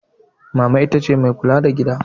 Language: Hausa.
Mama ita ce mai kula da gida.